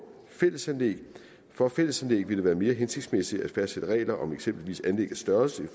fællesanlæg for fællesanlæg vil det være mere hensigtsmæssigt at fastsætte regler om for eksempel anlæggets størrelse i